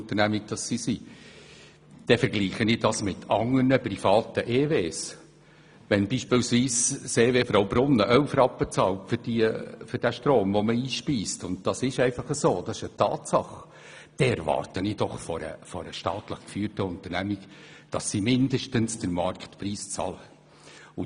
Wenn beispielsweise das Elektrizitätswerk (EW) Fraubrunnen 11 Rappen bezahlt für den Strom, den man einspeist – und dies ist eine Tatsache – dann erwarte ich von einer staatlich geführten Unternehmung, dass sie mindestens den Marktpreis bezahlt.